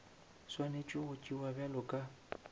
swanetše go tšewa bjalo ka